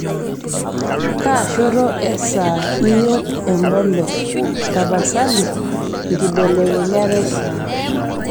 kaashoto esaa iyiok empolos tapasali nkibelekenyat esaa